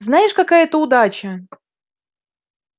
знаешь какая это удача